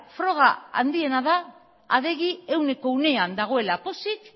froga handiena da adegi ehuneko ehunean dagoela pozik